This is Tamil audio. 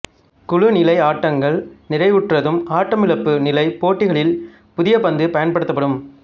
குழு நிலை ஆட்டங்கள் நிறைவுற்றதும் ஆட்டமிழப்பு நிலை போட்டிகளில் புதிய பந்து பயன்படுத்தப்படும்